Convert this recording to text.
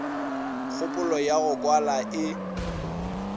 kgopolo ya go kwala e